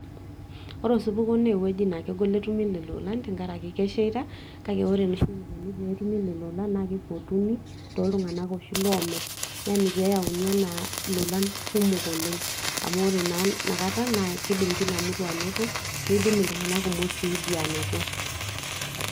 ore eosupuko naa ewueji naa kegol netumi lelo olan, trenkaraki kesheita. kake ore eneikoni tenetumi lelo olan naa keipotuni too ltunganak oshi loomir, pee eyauni anaa ilolan kumok oleng. amu ore naa ina kata naa kidim kila mutu anoto, nidim iltunganak kumok sii dii aanoto.